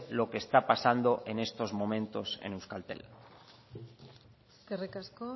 lo que está pasando en estos momentos en euskaltel eskerrik asko